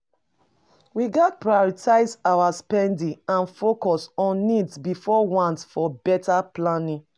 We gats prioritize our spending and focus on needs before wants for beta planning.